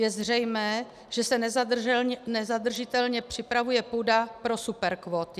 Je zřejmé, že se nezadržitelně připravuje půda pro superkvóty.